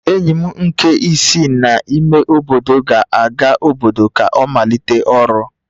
Enyi m nke si n'ime obodo ga-aga n'obodo ka ọ malite ọrụ